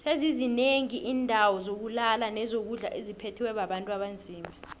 sezizi nengi indawo zokulala nezokudlo etziphethwe bontu abanzima